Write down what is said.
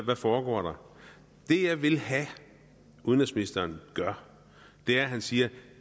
hvad foregår der det jeg vil have at udenrigsministeren gøre er at han siger